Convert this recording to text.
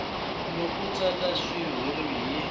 loko a tsala xitshuriwa hi